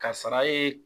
Kasara ye